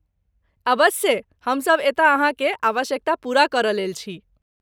अबस्से! हमसभ एतय अहाँकेँ आवश्यकता पूरा करयलेल छी।